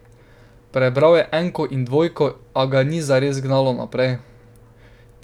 Prebral je enko in dvojko, a ga ni zares gnalo naprej.